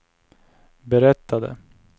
berättade